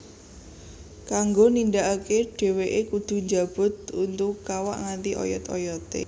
Kanggo nindakake dheweke kudhu njabut untu kawak nganti oyot oyote